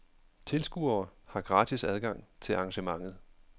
Tilskuere har gratis adgang til arrangementet.